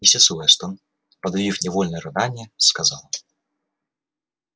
миссис вестон подавив невольное рыдание сказала